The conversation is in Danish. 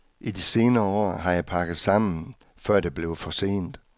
I de senere år har jeg pakket sammen, før det blev for sent.